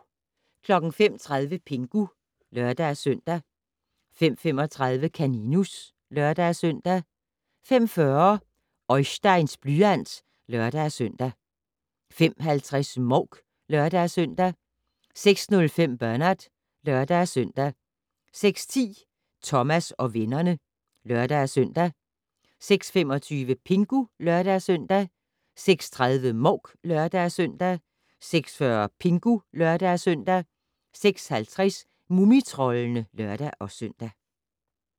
05:30: Pingu (lør-søn) 05:35: Kaninus (lør-søn) 05:40: Oisteins blyant (lør-søn) 05:50: Mouk (lør-søn) 06:05: Bernard (lør-søn) 06:10: Thomas og vennerne (lør-søn) 06:25: Pingu (lør-søn) 06:30: Mouk (lør-søn) 06:40: Pingu (lør-søn) 06:50: Mumitroldene (lør-søn)